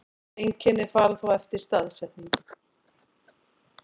Einkenni fara þá eftir staðsetningu.